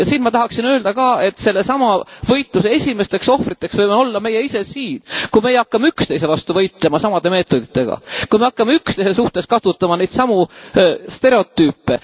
Ja siin ma tahaksin öelda ka, et sellesama võitluse esimesteks ohvriteks võime olla meie ise siin, kui meie hakkame üksteise vastu võitlema samade meetoditega, kui me hakkame üksteise suhtes kasutama neid samu stereotüüpe.